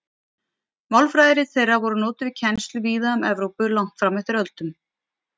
Málfræðirit þeirra voru notuð við kennslu víða um Evrópu langt fram eftir öldum.